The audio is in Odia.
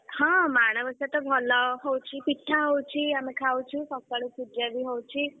ହଁ ମାଣବସା ତ ଭଲ ହଉଛି। ପିଠା ହଉଛି ଆମେ ଖାଉଛୁ, ସକାଳୁ ପୂଜା ବି ହଉଛି।